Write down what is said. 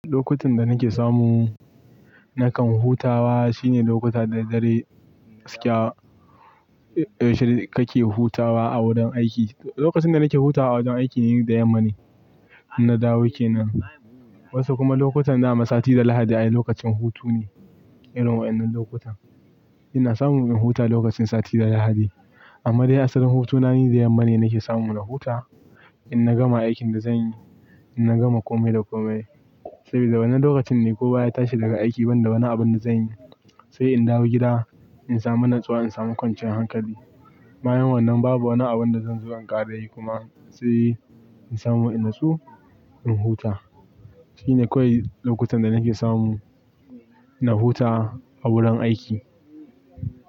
Lokutan da nake samu nakan hutawa shine lokuta da dadɗare gaskiya, eh yaushe kake hutawa a wurin aiki. Lokacin da nake hutawa a wajan aiki ni da yamma ne, inna dawo kenan. Wasu kuma lokutan dama sati da lahadi ayi lokacin hutu ne, irin wa'innan lokutan. Ina samu in huta lokacin sati da lahadi amma dai asalin hutuna ni da yamma ne nake samu na huta, inna gama aikin da zanyi, inna gama komai da komai. Saboda wannan lokacin ne kowa ya tashi daga aiki banda wani abun da zai yi. Sai in dawo gida, in samu natsuwa, in samu kwanciyar hankali. Bayan wannan babu wani abun da zan zo in ƙara yi kuma sai in samu ina natsu, in huta. Shine kawai lokutan da nake samu na huta a wurin aiki.